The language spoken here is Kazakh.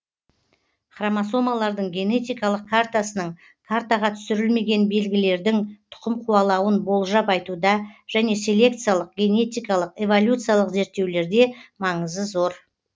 хромосомалардың генетикалык картасының картаға түсірілмеген белгілердің тұқым қуалауын болжап айтуда және селекциялық генетикалық эволюциялық зерттеулерде маңызы зор